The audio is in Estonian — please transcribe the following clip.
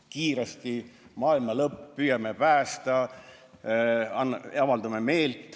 Kiiresti tuleb maailma lõpp, püüame päästa, avaldame meelt.